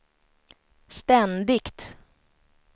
ständigt